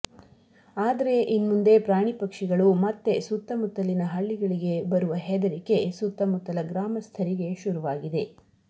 ಆದರೆ ಇನ್ಮುಂದೆ ಪ್ರಾಣಿ ಪಕ್ಷಿಗಳು ಮತ್ತೆ ಸುತ್ತಮುತ್ತಲಿನ ಹಳ್ಳಿಗಳಿಗೆ ಬರುವ ಹೆದರಿಕೆ ಸುತ್ತಮುತ್ತಲ ಗ್ರಾಮಸ್ಥರಿಗೆ ಶುರುವಾಗಿದೆ